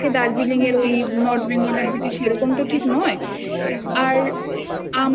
আকাশটা থাকে দার্জিলিং এর ওই North Bengal এর দিকে সেরকম